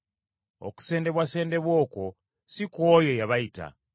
Okusendebwasendebwa okwo, si kw’oyo eyabayita.